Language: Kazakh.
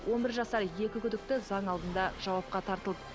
он бір жасар екі күдікті заң алдында жауапқа тартылды